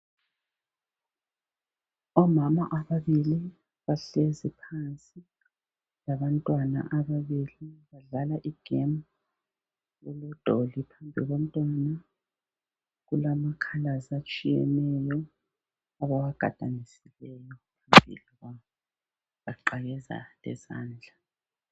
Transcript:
Omama ababili bahlezi phansi labantwana ababili. Badlala igemu elodoli. Phambi komntwana kulamakhalazi atshiyeneyo abawagadanisileyo ... baqakeza lezandla.